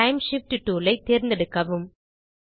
time shift tool ஐ தேர்ந்தெடுக்கவும்